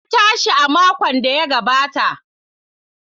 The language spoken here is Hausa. Na tashi a makon da ya gabata.